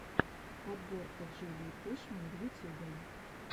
подборка джулии пушман в ютюбе